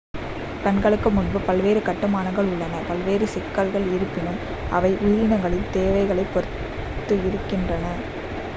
கண்களுக்கு முன்பு பல்வேறு கட்டுமானங்கள் உள்ளன பல்வேறு சிக்கலில் இருப்பினும் அவை உயிரினங்களின் தேவைகளைப் பொறுத்து இருக்கின்றன